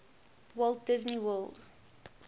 walt disney world